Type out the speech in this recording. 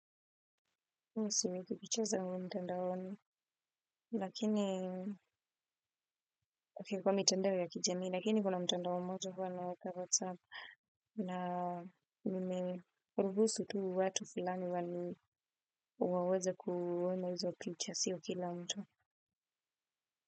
Mi siweki picha zangu mtandaoni lakini okay kwa mitandao ya kijamii, lakini kuna mtandao mmoja huwa naweka WhatsApp. Na nimeruhusu tu watu fulani wani waweze kuona hizo picha sio kila mtu.